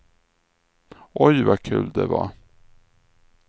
Oj, vad kul det var.